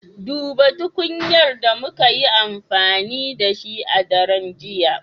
Duba tukunyar da muka yi amfani da shi a daren jiya